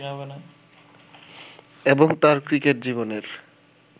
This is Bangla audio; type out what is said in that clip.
এবং তাঁর ক্রিকেট জীবনের